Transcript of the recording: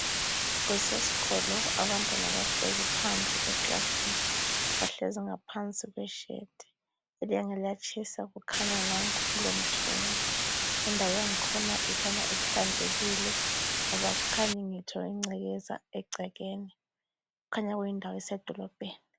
Kusesikolo abantwana bahlezi phandle kweclassroom. Bahlezi ngaphansi kweshade. Ilanga liyatshisa kukhanya nanku kulomthunzi . Indawo yangkhona ikhanya ihlanzekile ngoba akukhanyi ngitsho ingcekeza egcekeni. Kukhanya kuyindawo esedolobheni.